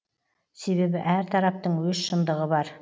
себебі әр тараптың өз шындығы бар